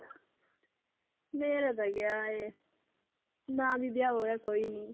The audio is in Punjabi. ਮੇਰਾ ਤਾਂ ਕਿਆ ਹੈ ਨਾਂ ਵੀ ਵਿਆਹ ਹੋਇਆ ਕੋਈ ਨੀ।